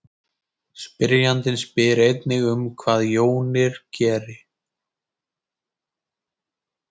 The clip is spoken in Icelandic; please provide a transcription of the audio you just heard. spyrjandinn spyr einnig um hvað jónir geri